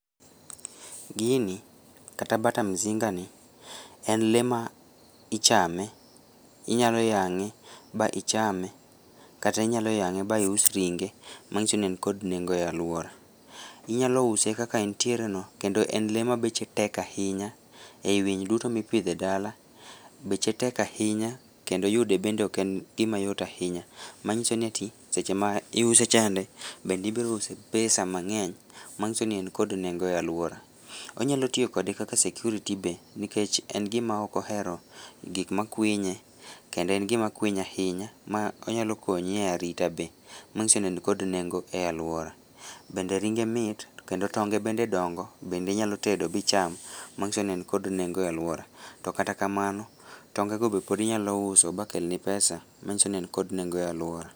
Gini, kata bata mzingani, en lee ma ichame, inyaloyang'e ba ichame kata inyaloyang'e ba ius ringe manyiso ni en kod nengo e aluora, inyalouse kaka entiereno kendo en lee ma beche tek ahinya ei winy duto ma ipidho ei dala, beche tek ahinya kendo yude bende ok en gimayot ahinya manyiso ni ati seche ma iuse chande bende ibirouse pesa mang'eny manyiso ni en kod nengo e aluora, wanyalotiyo kode kaka security be nikech en gima okohero gikmakwinye , kendo en gimakwiny ahinya ma onyalokonyi e arita be manyiso ni en kod nengo e aluora, bende ringe mit kendo tonge bende dongo bende inyalotedo ba icham manyiso ni en kod nengo e aluora, to kata kamano tonge go be podi inyalouso bakelni pesa manyiso ni en kod nengo e aluora.